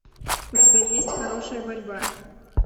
у тебя есть хорошая борьба